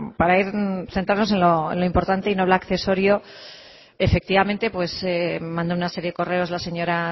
para asentarnos en lo importante y no en lo accesorio efectivamente manda una serie de correos la señora